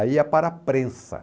Aí ia para a prensa.